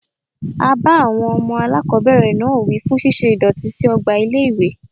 A bá àwọn ọmọ aláàkọ́bẹ̀rẹ̀ náà wí fún ṣíṣe ìdọ̀tí sí ọgbà ilé ìwé.